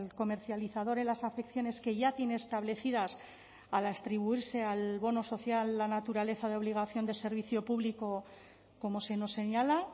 comercializador en las afecciones que ya tiene establecidas al atribuirse al bono social la naturaleza de obligación de servicio público como se nos señala